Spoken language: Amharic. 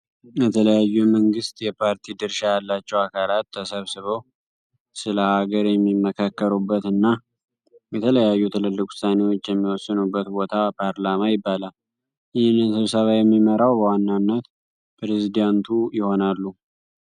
የተለያዩ የመንግስት የፓርቲ ድርሻ ያለቸው አካላት ተሰብስበው ስለ ሃገር ሚማከሩበት እና የተለያዩ ትልልቅ ውሳኔዎች የሚወሰኑበት ቦታ ፓርላማ ይባላል። ይህንን ስብሰባ የሚመራው በዋናንት ፕሬዚደንቱ ይሆናሉ።